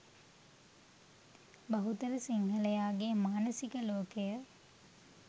බහුතර සිංහලයාගේ මානසික ලෝකය